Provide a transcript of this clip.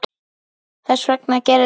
Þess vegna gerðist þetta.